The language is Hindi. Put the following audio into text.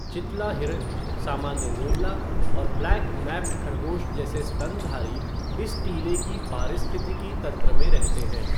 चितला हिरण, सामान्य नेवला और ब्लैक नैप्ड खरगोश जैसे स्तनधारी इस टीले की पारिस्थितिकी तंत्र में रहते हैं।